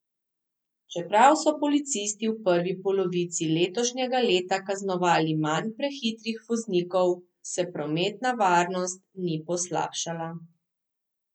Čeprav so policisti v prvi polovici letošnjega leta kaznovali manj prehitrih voznikov, se prometna varnost ni poslabšala.